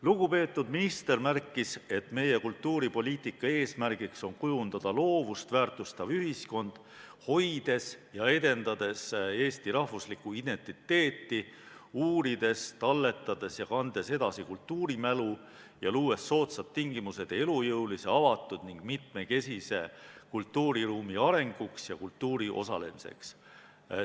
Lugupeetud minister märkis, et meie kultuuripoliitika eesmärk on kujundada loovust väärtustav ühiskond, hoides ja edendades eesti rahvuslikku identiteeti, uurides, talletades ja kandes edasi kultuurimälu ja luues soodsad tingimused elujõulise, avatud ning mitmekesise kultuuriruumi arenguks ja kultuuris osalemiseks.